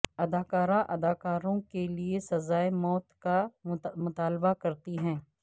اداکارہ اداکاروں کے لئے سزائے موت کا مطالبہ کرتی ہے